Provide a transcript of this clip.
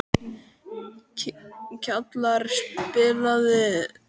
Kjalar, spilaðu lag.